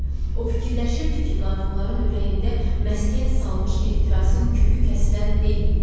O fikirləşirdi ki, qadınların ürəyində məskən salmış ehtirasın kökü kəsilən deyil.